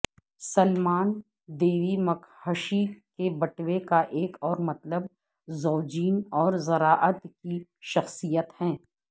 سلیمان دیوی مکہشی کے بٹوے کا ایک اور مطلب زوجین اور زراعت کی شخصیت ہے